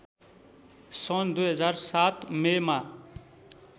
सन् २००७ मेमा